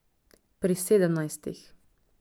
Pri sedemnajstih.